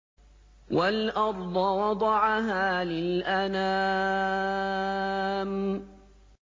وَالْأَرْضَ وَضَعَهَا لِلْأَنَامِ